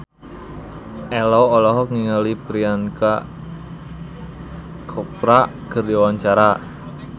Ello olohok ningali Priyanka Chopra keur diwawancara